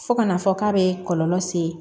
Fo ka na fɔ k'a bɛ kɔlɔlɔ se